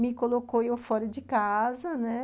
Me colocou eu fora de casa, né?